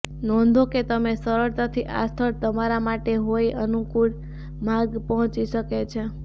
નોંધો કે તમે સરળતાથી આ સ્થળ તમારા માટે કોઇ અનુકૂળ માર્ગ પહોંચી શકે છે